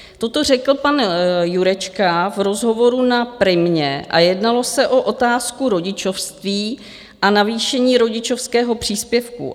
Toto řekl pan Jurečka v rozhovoru na Primě a jednalo se o otázku rodičovství a navýšení rodičovského příspěvku.